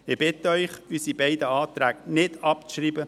Ich bitte Sie, unsere beiden Anträ- ge nicht abzuschreiben.